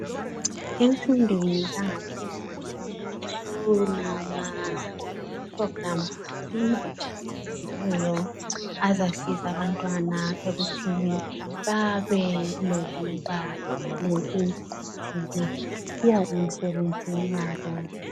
emfundweni yangaphezulu kulama phulogulamu atshiyeneyo azasiza abantwana ekuthini babe lokusizwa emsebenzini yabo